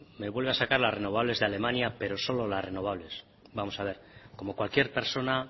me vuelve a sacar las renovables de alemania pero solo las renovables vamos a ver como cualquier persona